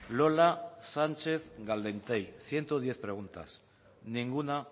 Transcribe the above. lola sánchez caldentey ciento diez preguntas ninguna